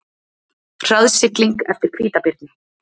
Hraðsigling eftir hvítabirni